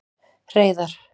Hreiðar